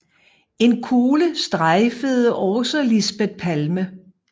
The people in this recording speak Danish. En kugle strejfede også Lisbeth Palme